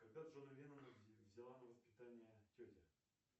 когда джона леннона взяла на воспитание тетя